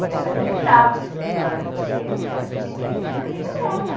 E ela acreditava nessa história, porque ela tinha ganho de uma amiga dela.